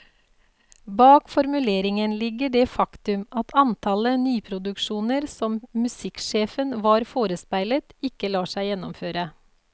Bak formuleringen ligger det faktum at antallet nyproduksjoner som musikksjefen var forespeilet, ikke lar seg gjennomføre.